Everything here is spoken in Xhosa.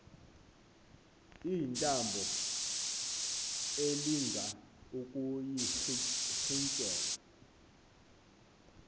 iintambo elinga ukuyirintyela